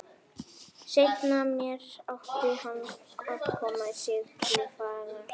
Seinna meir átti hann að koma til Siglufjarðar.